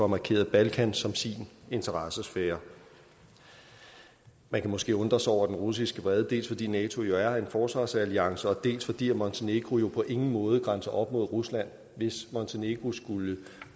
markeret balkan som sin interessesfære man kan måske undre sig over den russiske vrede dels fordi nato jo er en forsvarsalliance og dels fordi montenegro jo på ingen måde grænser op til rusland hvis montenegro skulle